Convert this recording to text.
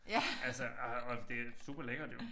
Altså ah og det superlækkert jo